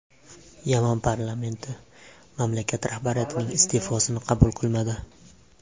Yaman parlamenti mamlakat rahbariyatining iste’fosini qabul qilmadi.